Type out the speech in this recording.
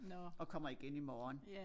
Og kommer igen i morgen